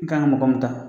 I kan ka mɔgɔ min ta